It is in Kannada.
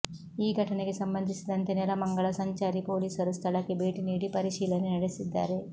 ಈ ಘಟನೆಗೆ ಸಂಬಂಧಿಸಿದಂತೆ ನೆಲಮಂಗಲ ಸಂಚಾರಿ ಪೊಲೀಸರು ಸ್ಥಳಕ್ಕೆ ಭೇಟಿ ನೀಡಿ ಪರಿಶೀಲನೆ ನಡೆಸಿದ್ದಾರೆ